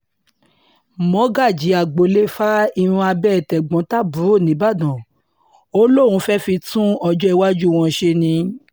mọ́gàjí agboolé fa irun abẹ́ tẹ̀gbọ́n-tàbúrò nìbàdàn ò lóun fẹ́ẹ́ fi tún ọjọ́owájú wọn ṣe ni